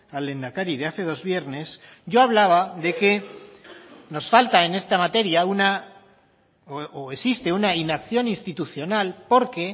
al lehendakari de hace dos viernes yo hablaba de que nos falta en esta materia una o existe una inacción institucional porque